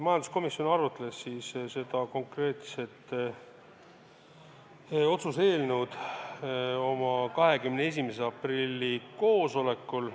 Majanduskomisjon arutas seda otsuse eelnõu oma 21. aprilli koosolekul.